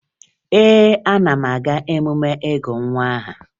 Ee, ana m aga emume ịgụ nwa aha